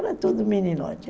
Era tudo meninote.